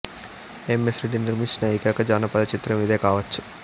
ఎమ్ S Reddy నిర్మించిన ఏకైక జానపద చిత్రం ఇదే కావచ్చు